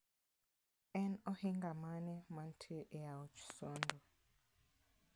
En ohinga mane mantie e aoch Sondu?